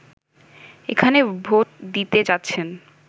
এখানে ভোট দিতে যাচ্ছেন